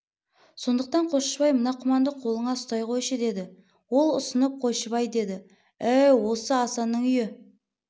сондықтан қосшыбай мына құманды қолыңа ұстай қойшы деді ол ұсынып қосшыбай деді әу осы асанның үйі